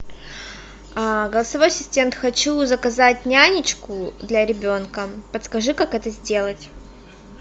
голосовой ассистент хочу заказать нянечку для ребенка подскажи как это сделать